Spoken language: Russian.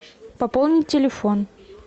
пополнить телефон